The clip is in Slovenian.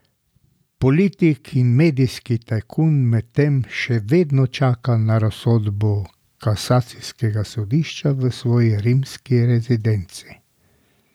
Politik in medijski tajkun medtem še vedno čaka na razsodbo kasacijskega sodišča v svoji rimski rezidenci.